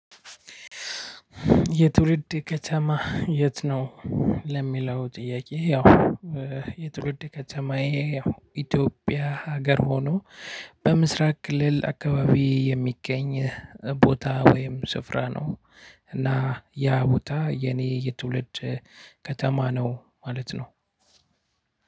የትውልድ ከተማ የት ነው? ለሚለው ጥያቄ ያው- የትውልድ ከተማዬ ያው ኢትዮጵያ ሀገር ሆኖ በምስራቅ ክልል አካባቢ የሚገኝ ቦታ ወይም ስፍራ ነው። እና ያ ቦታ የኔ የትውልድ ከተማ ነው ማለት ነው።